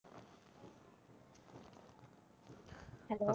Hello